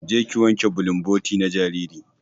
Je ki wanke bulumboti na jariri.